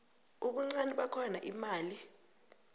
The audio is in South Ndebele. ubuncani bakhona imali